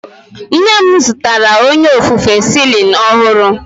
Nne m zụtara onye ofufe Celling ọhụrụ.